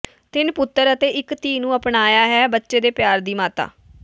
ਤਿੰਨ ਪੁੱਤਰ ਅਤੇ ਇੱਕ ਧੀ ਨੂੰ ਅਪਣਾਇਆ ਹੈ ਬੱਚੇ ਦੇ ਪਿਆਰ ਦੀ ਮਾਤਾ